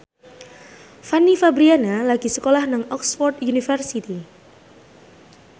Fanny Fabriana lagi sekolah nang Oxford university